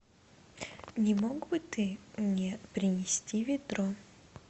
не мог бы ты мне принести ведро